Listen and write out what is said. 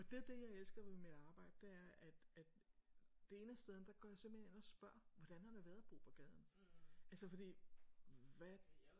Og det er det jeg elsker ved mit arbejde det er at at det ene af stederne der går jeg simpelthen og spørger hvordan har det været at bo på gaden? Altså fordi hvad?